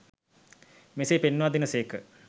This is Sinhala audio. මෙසේ පෙන්වා දෙන සේක